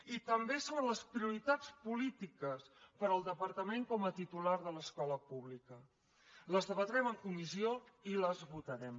i també sobre les prioritats polítiques per al departament com a titular de l’escola pública les debatrem en comissió i les votarem